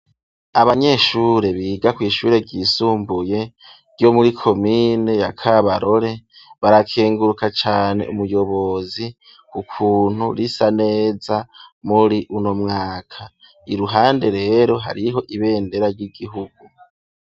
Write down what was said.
Abanyeshure biga ku ishure ryisumbuye ryo muri komine ya Kabarore barakenguruka cane umuyobozi ku kuntu risa neza muri uno mwaka. Iruhande rero hariho ibendera ry'igihugu.